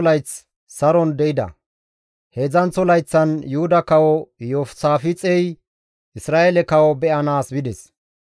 Heedzdzanththo layththan Yuhuda kawo Iyoosaafixey Isra7eele kawo be7anaas bides.